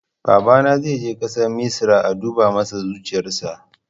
Babana zai je ƙasar misra a duba masa zuciyarsa